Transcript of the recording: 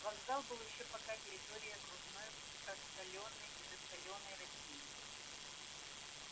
вокзал был ещё пока территорией окружной просоленной и засаленной россии